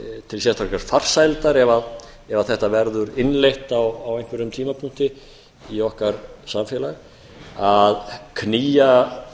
til sérstakrar farsældar ef þetta verður innleitt á einhverjum tímapunkti í okkar samfélag að knýja